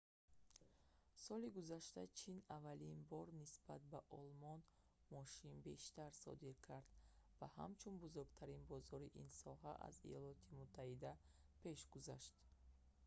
соли гузашта чин аввалин бор нисбат ба олмон мошин бештар содир кард ва ҳамчун бузургтарин бозори ин соҳа аз иёлоти муттаҳида пеш гузашт